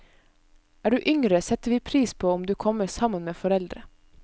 Er du yngre, setter vi pris på om du kommer sammen med foreldre.